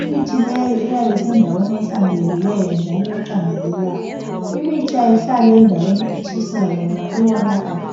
Imithi leyo iyabe isendaweni ehlanzekileyo njalo eqandelelayo. Imithi ayihlali endaweni etshisayo ngoba iyonakala.